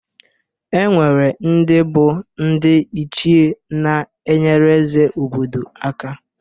E nwere ndị bụ ndị ichie na-enyere eze obodo aka.